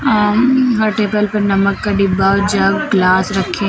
यहां हर टेबल पे नमक का डिब्बा और जग ग्लास रखे हैं।